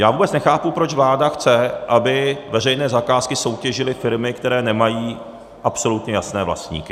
Já vůbec nechápu, proč vláda chce, aby veřejné zakázky soutěžily firmy, které nemají absolutně jasné vlastníky.